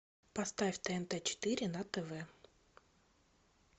поставь тнт четыре на тв